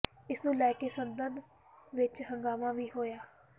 ਇਸ ਨੂੰ ਲੈ ਕੇ ਸਦਨ ਵਿਚ ਹੰਗਾਮਾ ਵੀ ਹੋਇਆ